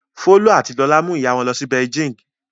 Folú àti Lọlá mú ìyá wọn lọ Beijing.